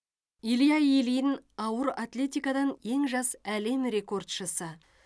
илья ильин ауыр атлетикадан ең жас әлем рекордшысы